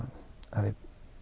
að við